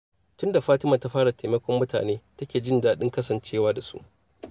Tun da fatima ta fara taimakon mutane, ta ke jin daɗin kasancewa da su.